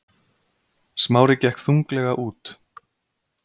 Smári gekk þunglega út.